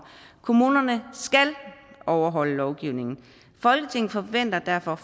kommunerne skal overholde lovgivningen folketinget forventer derfor